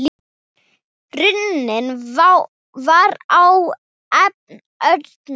Raunin var án efa önnur.